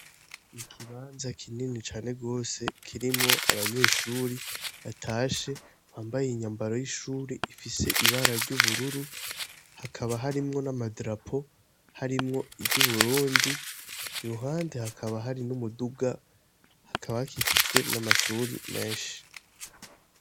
Mu kibanza kinini cane gose kirimwo abanyeshuri batashe bambaye inyambaro y'ishuri ifise ibara ry'ubururu, hakaba harimwo n'amadarapo, harimwo iry'Uburundi, iruhande hakaba hari n'umuduga, hakaba hakikijwe n'amashuri menshi.